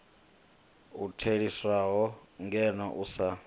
u theliswaho ngeno u sa